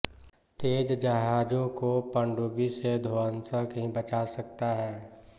तेज जहजों को पनडुब्बी से ध्वंसक ही बचा सकता है